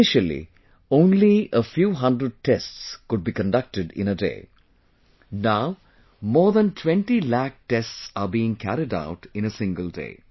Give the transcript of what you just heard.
Initially, only a few hundred tests could be conducted in a day, now more than 20 lakh tests are being carried out in a single day